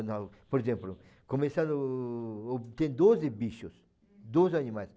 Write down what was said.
por exemplo, começando, tem doze bichos, doze animais.